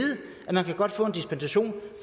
at man godt kan få en dispensation